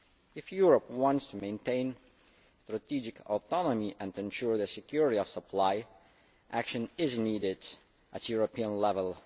If Europe wants to maintain strategic autonomy and ensure the security of supply, action is needed at European level.